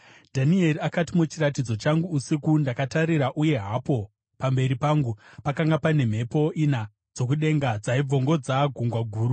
Dhanieri akati, “Muchiratidzo changu usiku, ndakatarira, uye hapo pamberi pangu pakanga pane mhepo ina dzokudenga dzaibvongodza gungwa guru.